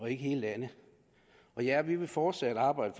hele landet ja vi vil fortsat arbejde